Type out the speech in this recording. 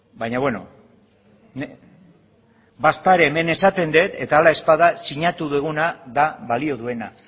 baina beno badaezpada ere hemen esaten dut eta hala ez bada sinatu duguna da balio duena